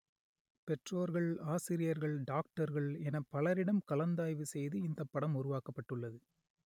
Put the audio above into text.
பெற்றோர்கள் ஆசிரியர்கள் டாக்டர்கள் என பலரிடம் கலந்தாய்வு செய்து இந்த படம் உருவாக்கப்பட்டுள்ளது